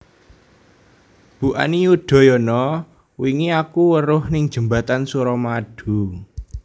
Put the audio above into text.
Bu Ani Yudhoyono wingi aku weruh ning jembatan Suramadu